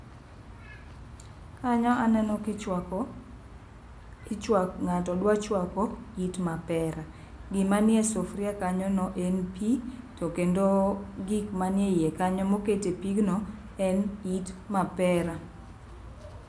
Kanyo aneno kichwako ichwa ng'ato dwa chwako it mapera. Gima nie sufuria kanyo no en pii to kendo gik manie iye kanyo moket e pigno en it mapera.